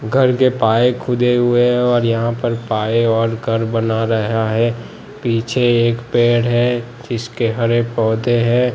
घरके पाए खुदे हुए है और यहां पर पाए और घर बना रहा है पीछे एक पेड़ हैं जिसके हरे पोधै हैं।